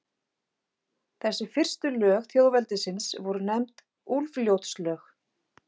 Þessi fyrstu lög þjóðveldisins voru nefnd Úlfljótslög.